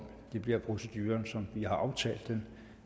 det bliver proceduren som vi har aftalt den